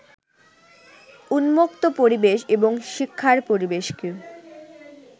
উন্মুক্ত পরিবেশ এবং শিক্ষার পরিবেশকে